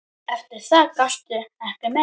Eftir það gastu ekki meir.